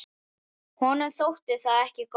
Honum þótti það ekki gott.